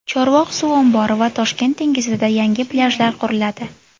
Chorvoq suv ombori va Toshkent dengizida yangi plyajlar quriladi.